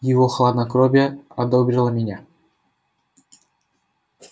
его хладнокровие ободрило меня